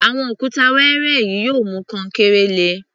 Àwọn òkúta wẹẹrẹ yìí yóò mú kankéré le.